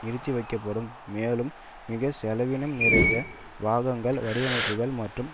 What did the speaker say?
நிறுத்திவைக்கப்படும் மேலும் மிக செலவினம் நிறைந்த பாகங்கள் வடிவமைப்புக்கள் மற்றும்